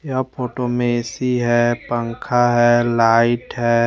यह फोटो में ए_सी हैं लाइट हैं पंखा ह--